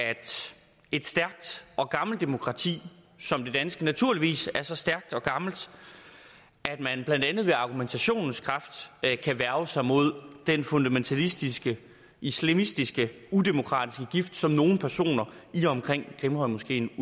et stærkt og gammelt demokrati som det danske naturligvis er så stærkt og gammelt at man blandt andet ved argumentationens kraft kan værge sig mod den fundamentalistiske islamistiske udemokratiske gift som nogle personer i og omkring grimhøjmoskeen